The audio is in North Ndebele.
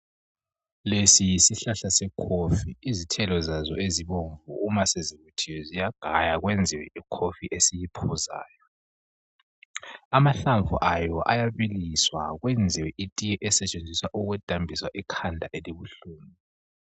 Lesi yisihlahla sekofi izithelo zazo ezibomvu uma sezivuthiwe ziyagaywa kwenziwe ikofi esiyiphuzayo. Amahlamvu ayo ayabiliswa kwenziwe itiye esetshenziswa ukudambisa ikhanda elibuhlungu.